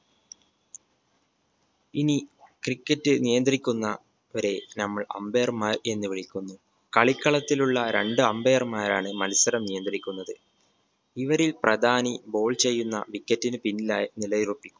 ഇനി cricket നിയന്ത്രിക്കുന്ന വരെ നമ്മൾ umpire മാർ എന്ന് വിളിക്കുന്നു കളിക്കളത്തിലുള്ള രണ്ട് umpire മാരാണ് മത്സരം നിയന്ത്രിക്കുന്നത് ഇവരിൽ പ്രധാനി ball ചെയ്യുന്ന wicket ന് പിന്നിലായി നിലയുറപ്പിക്കും